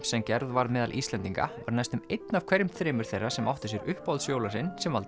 sem gerð var meðal Íslendinga var næstum einn af hverjum þremur þeirra sem áttu sér uppáhalds jólasvein sem valdi